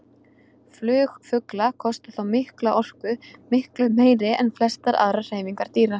Flug fugla kostar þá mikla orku, miklu meiri en flestar aðrar hreyfingar dýra.